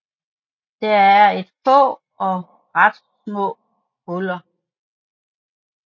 Der er er få og ret små huler